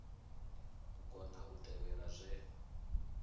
u kona u tevhela zwe